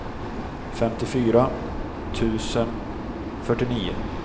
femtiofyra tusen fyrtionio